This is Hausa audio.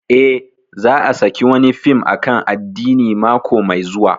Eh, za a saki wani fim akan addini mako mai zuwa